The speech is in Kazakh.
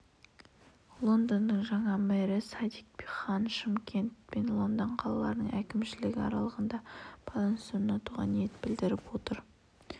лондонның жаңа мэрі садик хан шымкент пен лондон қалаларының әкімшілігі арасында байланыс орнатуға ниет білдіріп отыр